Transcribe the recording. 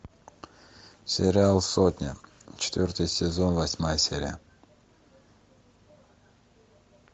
сериал сотня четвертый сезон восьмая серия